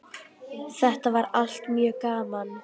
Þetta var allt mjög gaman.